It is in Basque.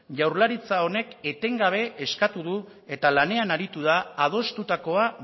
jaurlaritza honek etengabe eskatu du eta lanean aritu da adostutakoa